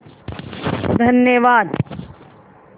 धन्यवाद